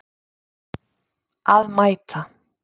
Að mæta.